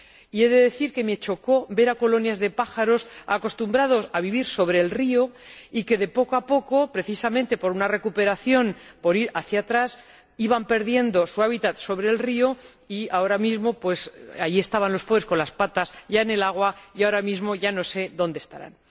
Y he de decir que me chocó ver colonias de pájaros acostumbrados a vivir sobre el río y que, poco a poco, precisamente por una recuperación, por ir hacia atrás, iban perdiendo su hábitat en el río, y mientras que antes estaban los pobres con las patas en el agua, ahora mismo ya no sé dónde estarán.